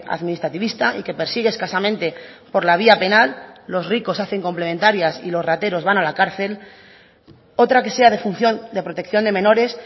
administrativista y que persigue escasamente por la vía penal los ricos hacen complementarias y los rateros van a la cárcel otra que sea de función de protección de menores